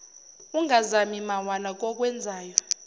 ungazami mawala kokwenzayo